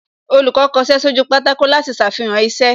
Olùkọ́ kọṣẹ́ sójú pátákó láti ṣàfihàn iṣẹ́